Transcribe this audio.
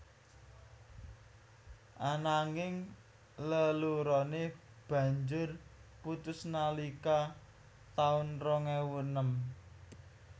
Ananging leloroné banjur putus nalika taun rong ewu enem